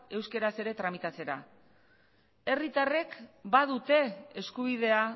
euskeraz ere tramitatzera herritarrek badute eskubidea